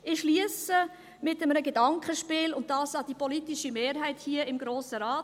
Ich schliesse mit einem Gedankenspiel, und dies an die politische Mehrheit hier im Grossen Rat.